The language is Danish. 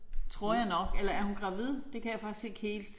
Tror jeg nok. Eller er hun gravid det kan jeg faktisk ikke helt